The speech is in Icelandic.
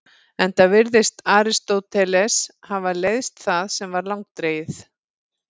Enda virðist Aristóteles hafa leiðst það sem var langdregið.